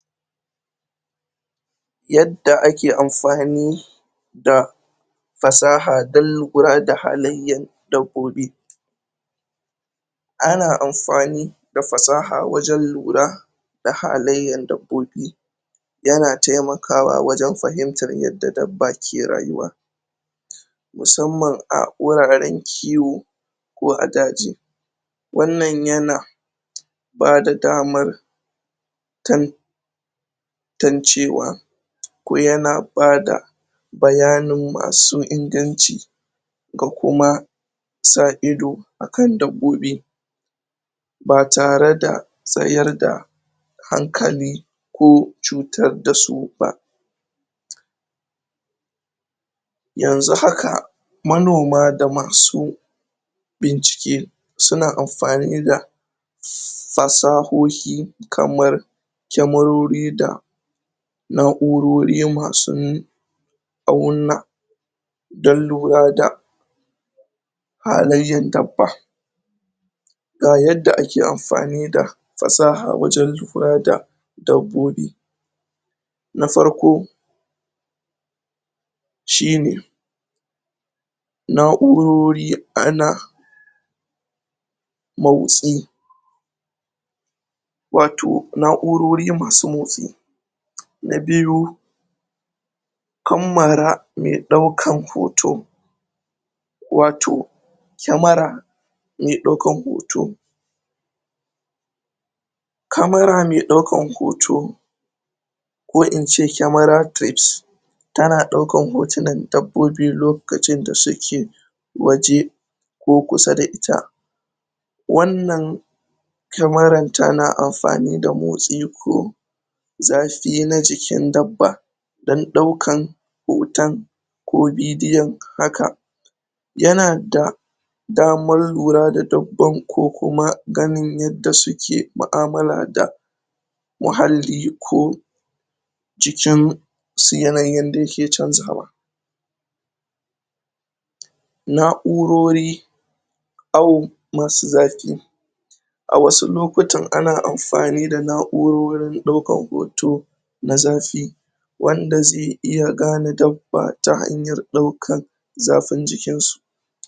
yadda ake anfani da fasaha dan lura da fasahan dabbobi ana anfani da fasaha wajen lura da halaiyan dabbobi yana taimakawa wajen fahimtan yadda dabba ke rayuwa musamman a huraren kiwo ko a daji wan nan yana bada daman tan tancewa ko yana bada bayanin masu inganci ga kuma sa ido akan dabbobi ba tare da wayar da hankali ko cutardasu kai yanzu haka manoma da masu bincike suna anfani da fasahoyi kaman kemarori da naurori masu a wan nan dan lura da halaiyan dabba ga yadda a ke anfani da fasaha wajen lura da na farko shine naurori ana motsi wato naurori masu motsi na biyu kamamala mai daukan hoto wato kemara mai daukan hoto kamara mai daukan hoto ko ince kamara tips tana daukan hotunan dabbobi lokacin da suke waje ko kusa da ita wan nan kemaran tana anfani da motsi ko zafi na jikin dabba dan daukan hoton ko bidiyon haka yana da yana da daman lura da dabban ko kuma ganin yadda suke maamala da muhalli ko cikin yanayin da yake chanjawa naurori ahu masu zafi a wasu lokutan ana anfani da naurorin daukan hoto na zafi wanda zai iya, gane dabba ba ta hanyan daukan zafin jikin su